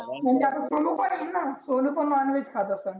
म्हणजे आपला सोनु पण आहेना सोनु पण नॉनव्हेज खात असनं.